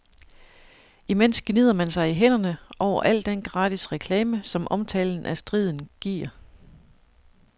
Imens gnider man sig i hænderne over al den gratis reklame, som omtalen af striden giver.